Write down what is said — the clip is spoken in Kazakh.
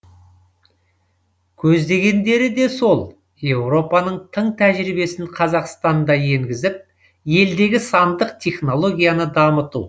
көздегендері де сол еуропаның тың тәжірибесін қазақстанда енгізіп елдегі сандық технологияны дамыту